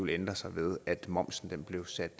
ændre sig ved at momsen blev sat